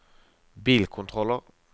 bilkontroller